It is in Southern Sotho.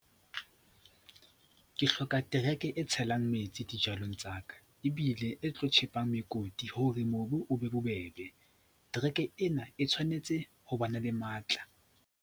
Ke hloka tereke e tshelang metsi dijalong tsa ka, ebile e tlo tjhepa mekoti hore mobu o be bobebe. Tereke ena e tshwanetse ho bana le matla.